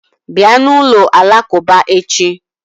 Bịa na ụlọ alakuba echi